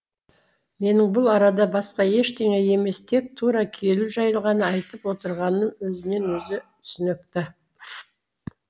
менің бұл арада басқа ештеңе емес тек тура келу жайлы ғана айтып отырғаным